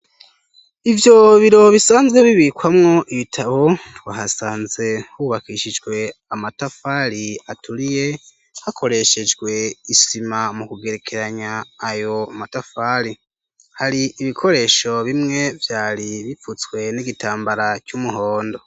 Ivyo biro bisanzwe bibikwamwo ibitabo twahasanze hubakishijwe amatafali aturiye hakoreshejwe isima mu kugerekeranya ayo matafali hari ibikoresho bimwe vyari bipfutswe n'igitambara c'umuhondo.